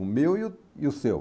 O meu e o e o seu.